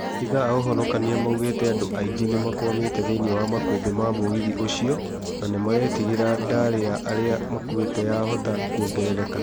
Maabithaa a ũhonokania maugĩte andũ aingĩ nĩmakwamĩte thĩiniĩ wa makũmbĩ ma mũgithi ũcio na nĩmaretigĩra ndari ya arĩa makũĩte yahota kuongerereka